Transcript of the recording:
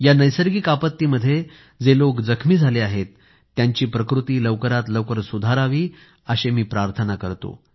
या नैसर्गिक आपत्तीमध्ये जे लोक जखमी झाले आहेत त्यांची प्रकृती लवकरात लवकर सुधारावी अशी प्रार्थना मी करतो